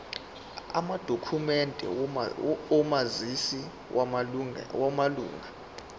amadokhumende omazisi wamalunga